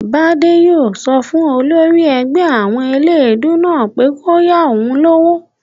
Bádé yóò sọ fún olórí ẹgbẹ́ àwọn eléèdúú náà pé kó yá òun lówó